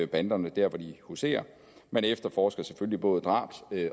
banderne der hvor de huserer man efterforsker selvfølgelig både drab